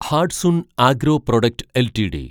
Hatsun agro product LTD